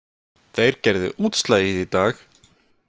Þeir gerðu útslagið í dag